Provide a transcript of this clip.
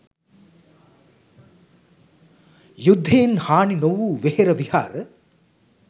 යුද්ධයෙන් හානි නොවූ වෙහෙර විහාර